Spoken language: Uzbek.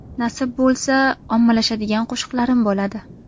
Nasib bo‘lsa, ommalashadigan qo‘shiqlarim bo‘ladi.